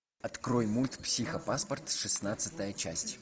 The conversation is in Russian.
открой мульт психопаспорт шестнадцатая часть